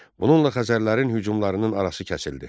Bununla Xəzərlərin hücumlarının arası kəsildi.